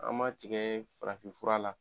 An ma tigɛ farafinfura la